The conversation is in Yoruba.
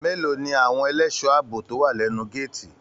Mélòó ní àwọn ẹlẹṣọ ààbò tó wà lẹnu gàátí?